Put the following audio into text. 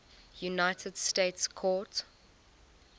united states court